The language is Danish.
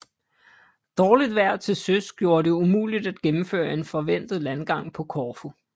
Dårligt vejr til søs gjorde det umuligt at gennemføre en forventet landgang på Korfu